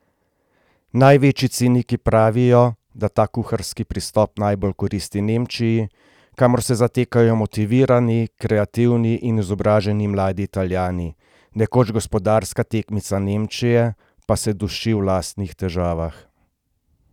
Največji ciniki pravijo, da ta kuharski pristop najbolj koristi Nemčiji, kamor se zatekajo motivirani, kreativni in izobraženi mladi Italijani, nekoč gospodarska tekmica Nemčije pa se duši v lastnih težavah.